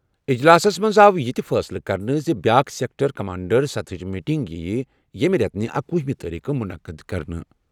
اجلاسَس منٛز آو یہِ تہِ فٲصلہٕ کرنہٕ زِ بیٛاکھ سیکٹر کمانڈر سطحٕچ میٹنگ یِیہِ ییٚمہِ رٮ۪تہٕ اکۄہُ تٲریخہٕ منعقد کرنہٕ۔